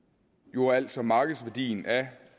jo altså markedsværdien af